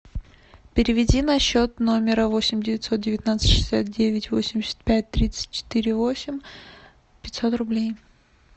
переведи на счет номера восемь девятьсот девятнадцать шестьдесят девять восемьдесят пять тридцать четыре восемь пятьсот рублей